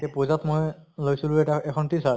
তʼ পুজাত মই লৈছিলো এটা এখন t-shirt